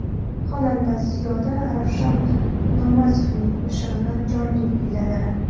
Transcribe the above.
Xonanda Ziyoda Ravshan Namozovning qo‘shig‘ini jonli kuyladi.